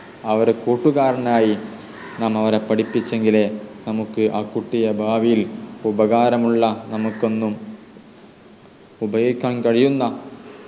അവരെ കൂട്ടുകാരനായി നാം അവരെ പഠിപ്പിച്ചെങ്കിലേ നമുക്ക് ആ കുട്ടിയെ ഭാവിയിൽ ഉപകാരമുള്ള നമുക്കെന്നും ഉപയോഗിക്കാൻ കഴിയുന്ന